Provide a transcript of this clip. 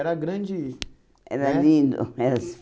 Era grande né? Era lindo.